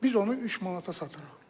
Biz onu 3 manata satırıq.